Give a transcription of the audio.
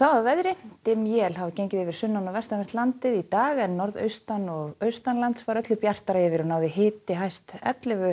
að veðri dimm él hafa gengið yfir sunnan og vestanvert landið í dag en norðaustan og var öllu bjartara yfir og náði hiti hæst ellefu